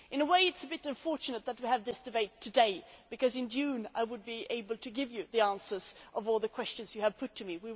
In a way it is a bit unfortunate that we are having this debate today because in June I would be able to give you the answers to all the questions you have put to me.